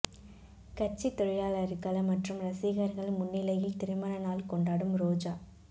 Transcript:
கட்சித் தொழிலாளர்கள் மற்றும் ரசிகர்கள் முன்னிலையில் திருமண நாள் கொண்டாடும் ரோஜா